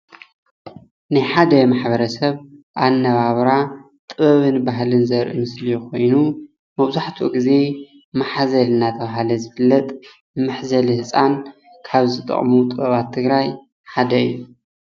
ናይ ሓደ ማሕበረ ሰብ ኣነባብራ ጥበብን ባህልን ዘርኢ ምስሊ ኮይኑ መብዛሕትኡ ግዜ ማሕዘል እናተባሃለ ዝፍለጥ መሕዘሊ ህፃን ካብ ዝጠቅሙ ጥበባት ትግራይ ሓደ እዩ፡፡